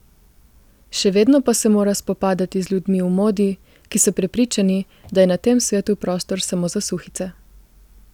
Še vedno pa se mora spopadati z ljudmi v modi, ki so prepričani, da je na tem svetu prostor samo za suhice ...